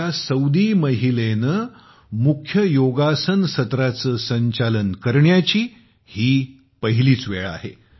एका सौदी महिलेने मुख्य योगासन सत्रांच संचालन करण्याची ही पहिलीच वेळ आहे